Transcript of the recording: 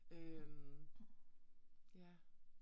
Øh. Ja